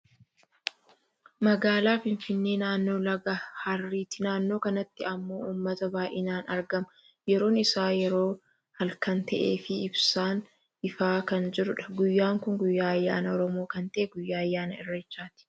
Magaalaa Finfinnee naannoo laga harreeti. Naannoo kanatti ammoo uummata baayyinaan argama. Yeroon isaa yeroo halkan ta'eefi ibsaan ifaa kan jirudha. Guyyaan kun guyyaa ayyaana oromoo kan ta'e guyyaa ayyaana irreechaati.